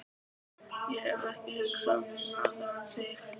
Ég hef ekki hugsað um neina aðra en þig.